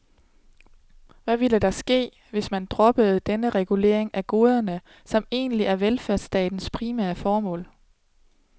Hvad ville der ske, hvis man droppede denne regulering af goderne, som egentlig er velfærdsstatens primære formål?